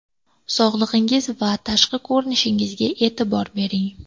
Sog‘lig‘ingiz va tashqi ko‘rinishingizga e’tibor bering.